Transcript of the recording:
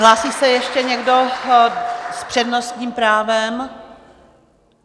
Hlásí se ještě někdo s přednostním právem?